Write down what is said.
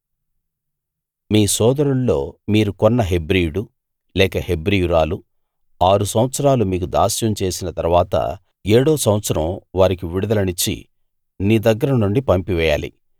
మీ సోదరుల్లో మీరు కొన్న హెబ్రీయుడు లేక హెబ్రీయురాలు ఆరు సంవత్సరాలు మీకు దాస్యం చేసిన తరవాత ఏడో సంవత్సరం వారికి విడుదలనిచ్చి నీ దగ్గర నుండి పంపివేయాలి